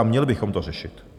A měli bychom to řešit.